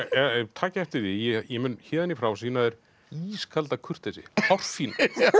takið eftir því ég mun héðan í frá sýna þér ískalda kurteisi hárfína